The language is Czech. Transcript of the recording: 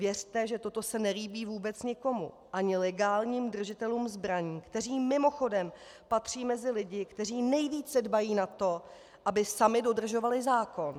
Věřte, že toto se nelíbí vůbec nikomu, ani legálním držitelům zbraní, kteří mimochodem patří mezi lidi, kteří nejvíce dbají na to, aby sami dodržovali zákon.